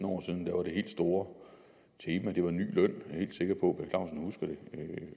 år siden var det helt store tema ny løn jeg er helt sikker på